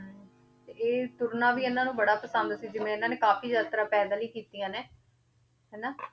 ਇਹ ਤੁਰਨਾ ਵੀ ਇਹਨਾਂ ਨੂੰ ਬੜਾ ਪਸੰਦ ਸੀ ਜਿਵੇਂ ਇਹਨਾਂ ਨੇ ਕਾਫ਼ੀ ਯਾਤਰਾ ਪੈਦਲ ਹੀ ਕੀਤੀਆਂ ਨੇ, ਹਨਾ